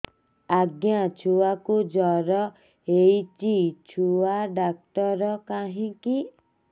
ଆଜ୍ଞା ଛୁଆକୁ ଜର ହେଇଚି ଛୁଆ ଡାକ୍ତର କାହିଁ କି